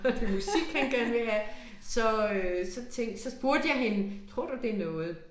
Og det musik han gerne vil have så øh så tænkte så spurgte jeg hende tror du det noget